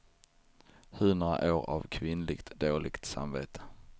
Hundra år av kvinnligt dåligt samvete.